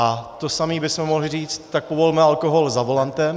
A to samé bychom mohli říci, tak povolme alkohol za volantem.